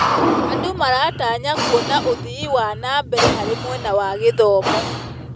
Andũ maratanya kuona ũthii wa na mbere harĩ mwena wa gĩthomo.